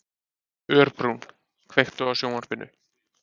Örbrún, kveiktu á sjónvarpinu.